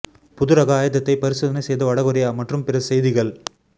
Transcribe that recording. புதுரக ஆயுதத்தை பரிசோதனை செய்த வட கொரியா மற்றும் பிற செய்திகள்